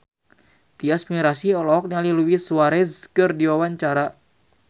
Tyas Mirasih olohok ningali Luis Suarez keur diwawancara